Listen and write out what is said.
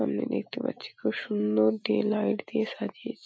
সামনে দেখতে পাচ্ছি খুব সুন্দর ডে লাইট দিয়ে সাজিয়েছে।